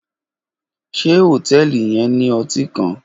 Ṣe hotẹẹli yẹn ni ọti kan?